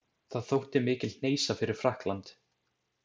Það þótti mikil hneisa fyrir Frakkland.